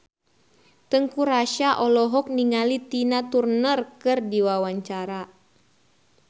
Teuku Rassya olohok ningali Tina Turner keur diwawancara